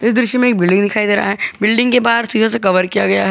इस दृश्य में एक बिल्डिंग दिखाई दे रहा है बिल्डिंग के बाहर शीशे से कवर किया गया ह--